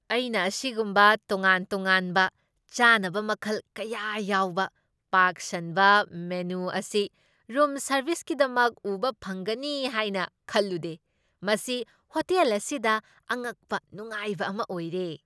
ꯑꯩꯅ ꯑꯁꯤꯒꯨꯝꯕ ꯇꯣꯉꯥꯟ ꯇꯣꯉꯥꯟꯕ ꯆꯥꯅꯕ ꯃꯈꯜ ꯀꯌꯥ ꯌꯥꯎꯕ ꯄꯥꯛ ꯁꯟꯕ ꯃꯦꯅꯨ ꯑꯁꯤ ꯔꯨꯝ ꯁꯔꯕꯤꯁꯀꯤꯗꯃꯛ ꯎꯕ ꯐꯪꯒꯅꯤ ꯍꯥꯏꯅ ꯈꯜꯂꯨꯗꯦ꯫ ꯃꯁꯤ ꯍꯣꯇꯦꯜ ꯑꯁꯤꯗ ꯑꯉꯛꯄ ꯅꯨꯡꯉꯥꯏꯕ ꯑꯃ ꯑꯣꯏꯔꯦ!